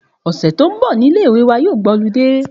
Òsè tó n bò ni ilé ìwé wa yóò gba olidé